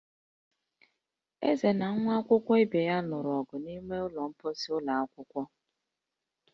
Eze na nwa akwụkwọ ibe ya lụrụ ọgụ n'ime ụlọ mkposi ụlọ akwụkwọ